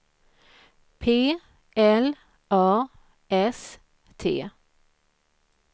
P L A S T